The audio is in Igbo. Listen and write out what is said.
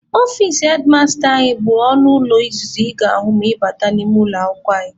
Ọfici hedmasta anyị bụ ọnụ ụlọ izizi ị ga-ahụ ma ị bata n'ime ụlọ akwụkwọ anyị.